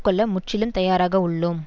கொள்ள முற்றிலும் தயாராக உள்ளோம்